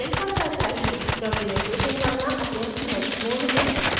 documentation पढना अत्यंत महत्वपूर्ण है